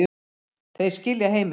Þeir skilja heiminn